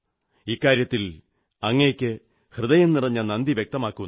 ഇക്കാര്യത്തിൽ അങ്ങയ്ക്ക് ഹൃദയം നിറഞ്ഞ നന്ദി വ്യക്തമാക്കുന്നു